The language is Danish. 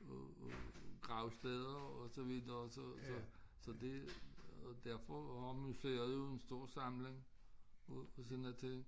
af af gravsteder og så videre så så så det og derfor anmasser jo en stor samling og sådan der ting